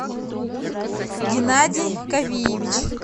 геннадий кавиевич